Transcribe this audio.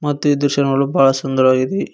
ಮತ್ತೆ ದೃಶ್ಯ ನೋಡಲು ಬಹಳ ಸುಂದರವಾಗಿದೆ.